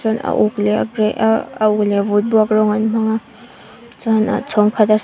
a uk leh a grey ah a uk leh vutbuak rawng an hmang a chuan a chhawng khata s--